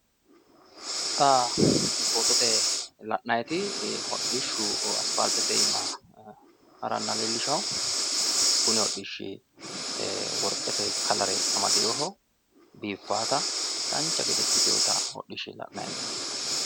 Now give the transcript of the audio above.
xa fotote la'nanniti hodhishu aspaaltete aana harannoha leellisha kuni hodhishshi worqete kalare amadeeho biiffaata dancha gede ikkitewota hodhisha la'nanni hee'noommo.